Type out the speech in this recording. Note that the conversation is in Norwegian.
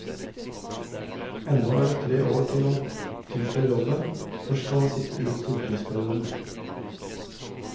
Ennå er det tre år til han tiltrer jobben, først skal han sitte ut stortingsperioden.